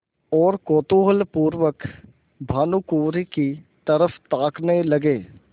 और कौतूहलपूर्वक भानुकुँवरि की तरफ ताकने लगे